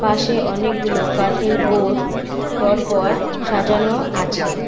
পাশে অনেকগুলো কাঠের বোর্ড পরপর সাজানো আছে।